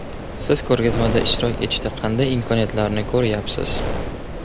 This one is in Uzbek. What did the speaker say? Siz ko‘rgazmada ishtirok etishda qanday imkoniyatlarni ko‘rayapsiz ?